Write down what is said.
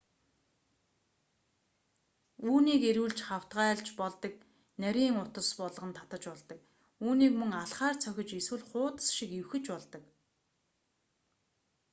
үүнийг эргүүлж хавтгайлж болдог нарийн утас болгон татаж болдог үүнийг мөн алхаар цохиж эсвэл хуудас шиг эвхэж болдог